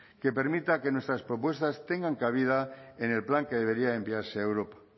que permita que nuestras propuestas tengan cabida en el plan que debería enviarse a europa